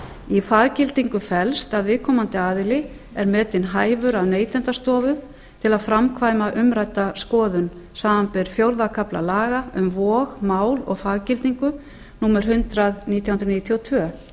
í faggildingu felst að viðkomandi aðili er metinn hæfur af neytendastofu til að framkvæma umrædda skoðun samanber fjórða kafla laga um vog mál og faggildingu númer hundrað nítján hundruð níutíu og tvö